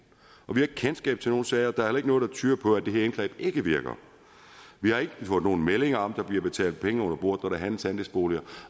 vi har ikke kendskab til nogen sager og der er heller ikke noget der tyder på at det her indgreb ikke virker vi har ikke fået nogen meldinger om at der bliver betalt penge under bordet handles andelsboliger